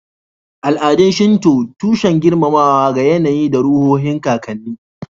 Al'adun Shinto, tushen girmamawa ga yAnayi da ruhohin kakanni